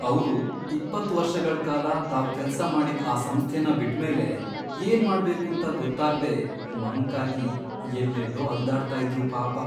ಅವ್ರು, ಇಪ್ಪತ್ತ್ ವರ್ಷಗಳ್ ಕಾಲ ತಾವ್ ಕೆಲ್ಸ ಮಾಡಿದ್ ಆ ಸಂಸ್ಥೆನ ಬಿಟ್ಮೇಲೆ, ಏನ್ಮಾಡ್ಬೇಕೂಂತ ಗೊತ್ತಾಗ್ದೇ ಮಂಕಾಗಿ ಎಲ್ಲೆಲ್ಲೋ ಅಲ್ದಾಡ್ತಾ ಇದ್ರು ಪಾಪ.